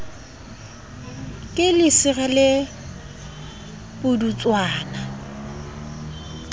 ke lesira le le pudutswana